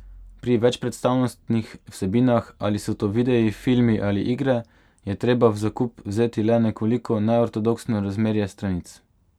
Pri večpredstavnostnih vsebinah, ali so to videi, filmi ali igre, je treba v zakup vzeti le nekoliko neortodoksno razmerje stranic.